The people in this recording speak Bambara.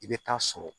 I bɛ taa sɔrɔ